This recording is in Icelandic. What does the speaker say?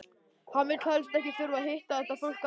Hann vildi helst ekki þurfa að hitta þetta fólk aftur!